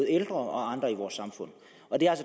ældre og andre i vores samfund og det